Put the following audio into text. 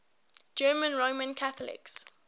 german roman catholics